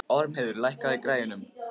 Ormheiður, lækkaðu í græjunum.